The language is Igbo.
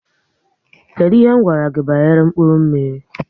Kedụ ihe gwara gị banyere mkpụrụ mmiri?